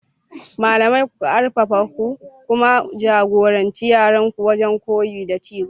Malamai, ku arfafa ku kuma ja-goranci yaranku wajen koyo da ci gaba.